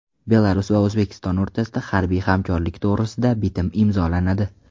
Belarus va O‘zbekiston o‘rtasida harbiy hamkorlik to‘g‘risida bitim imzolanadi.